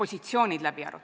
Jevgeni Ossinovski, palun!